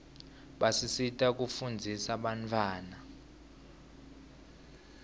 basisita kufunzisa bantfwana